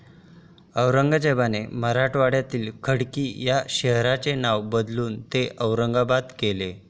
औरंगझेबाने मराठवाड्यातील खडकी या शहराचे नाव बदलून ते औरंगाबाद केले.